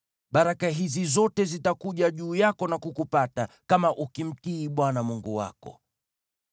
Baraka hizi zote zitakuja juu yako na kukupata, kama ukimtii Bwana Mungu wako: